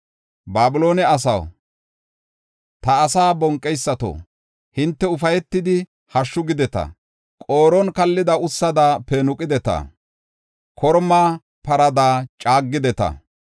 Babiloone asaw, ta asaa bonqeysato, hinte ufaytidi hashshu gideta. Qooron kallida ussada peenuqideta; korma parada caagideta.